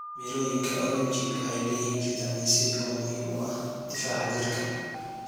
Mirooyinka oranji waxay leeyihiin fitamiin C oo muhiim u ah difaaca jirka.